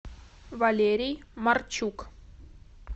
валерий марчук